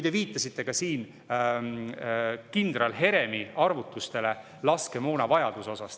Te viitasite siin kindral Heremi arvutustele laskemoonavajaduse kohta.